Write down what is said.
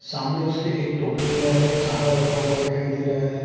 सामने उसके एक टोकरे में हमे चारा रखा हुआ दिखाई दे रहा है।